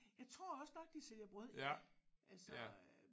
Jeg tror også nok de sælger brød ja altså